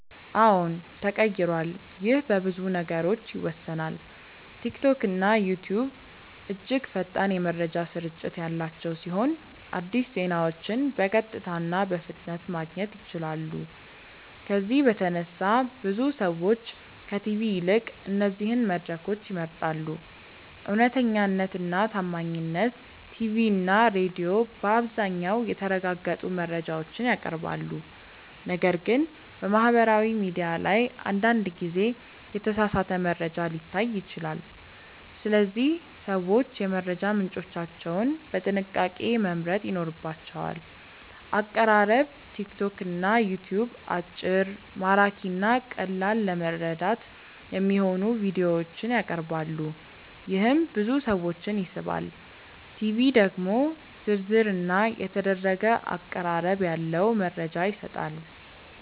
አዎን ተቀይሯል ይህ በብዙ ነገሮች ይወሰናል። ቲክቶክና ዩትዩብ እጅግ ፈጣን የመረጃ ስርጭት ያላቸው ሲሆን አዲስ ዜናዎችን በቀጥታ እና በፍጥነት ማግኘት ያስችላሉ። ከዚህ በተነሳ ብዙ ሰዎች ከቲቪ ይልቅ እነዚህን መድረኮች ይመርጣሉ። እውነተኛነት እና ታማኝነት ቲቪ እና ሬዲዮ በአብዛኛው የተረጋገጡ መረጃዎችን ያቀርባሉ፣ ነገር ግን በማህበራዊ ሚዲያ ላይ አንዳንድ ጊዜ የተሳሳተ መረጃ ሊታይ ይችላል። ስለዚህ ሰዎች የመረጃ ምንጮቻቸውን በጥንቃቄ መምረጥ ይኖርባቸዋል። አቀራረብ ቲክቶክ እና ዩትዩብ አጭር፣ ማራኪ እና ቀላል ለመረዳት የሚሆኑ ቪዲዮዎችን ያቀርባሉ፣ ይህም ብዙ ሰዎችን ይስባል። ቲቪ ደግሞ ዝርዝር እና የተደረገ አቀራረብ ያለው መረጃ ይሰጣል።